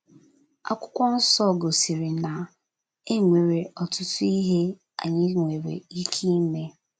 Akwụkwọ nso gosiri na e nwere ọtụtụ ihe anyị nwere ike ime.